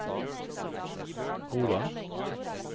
Roland